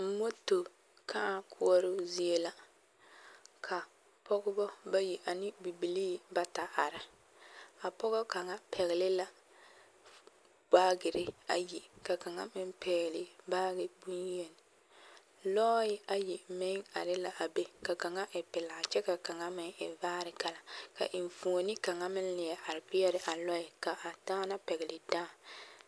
Moto kãã koɔroo zie la ka pɔɡebɔ bayi ane bibilii bata daara a pɔɡɔ kaŋa pɛɡele la baaɡere ayi ka kaŋa meŋ pɛɛle baaɡe bonyen lɔɛ ayi meŋ are la a be ka kaŋa e pelaa kyɛ ka kaŋa meŋ e vaare kala ka enfuoni kaŋa meŋ leɛ are peɛle a lɔɛ ka a daana pɛɡele dãã.